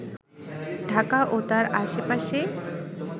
ঢাকা ও তার আশপাশে